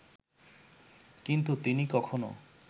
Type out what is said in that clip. কিন্তু তিনি কখনো